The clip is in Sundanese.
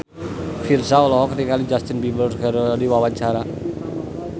Virzha olohok ningali Justin Beiber keur diwawancara